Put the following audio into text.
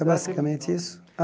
É basicamente isso. Ah